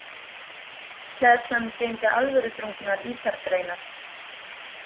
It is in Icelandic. Hleðslan geymdi alvöruþrungnar ítargreinar.